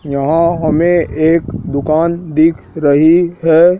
यहां हमें एक दुकान दिख रही है।